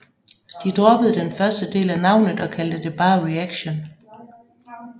De droppede den første del af navnet og kaldte det bare Reaction